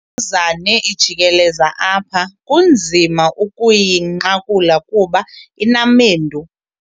Le mbuzane ijikeleza apha kunzima ukuyinqakula kuba inamendu.